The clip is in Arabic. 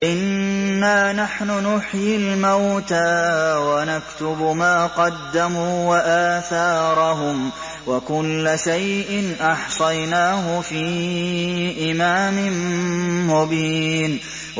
إِنَّا نَحْنُ نُحْيِي الْمَوْتَىٰ وَنَكْتُبُ مَا قَدَّمُوا وَآثَارَهُمْ ۚ وَكُلَّ شَيْءٍ أَحْصَيْنَاهُ فِي إِمَامٍ مُّبِينٍ